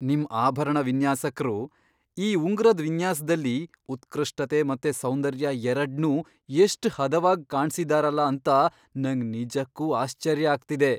ನಿಮ್ ಆಭರಣ ವಿನ್ಯಾಸಕ್ರು ಈ ಉಂಗುರದ್ ವಿನ್ಯಾಸ್ದಲ್ಲಿ ಉತ್ಕೃಷ್ಟತೆ ಮತ್ತೆ ಸೌಂದರ್ಯ ಎರಡ್ನೂ ಎಷ್ಟ್ ಹದವಾಗ್ ಕಾಣ್ಸಿದಾರಲ ಅಂತ ನಂಗ್ ನಿಜಕ್ಕೂ ಆಶ್ಚರ್ಯ ಆಗ್ತಿದೆ.